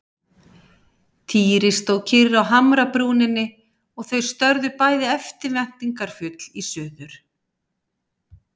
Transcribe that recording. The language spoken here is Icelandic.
Týri stóð kyrr á hamrabrúninni og þau störðu bæði eftirvæntingarfull í suður.